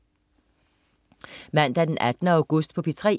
Mandag den 18. august - P3: